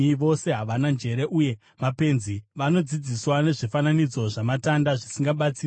Vose havana njere uye mapenzi; vanodzidziswa nezvifananidzo zvamatanda zvisingabatsiri.